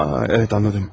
Aha, ə anladım.